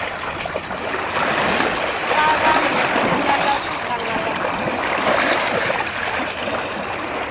fa vanhu ku sala swikangalafula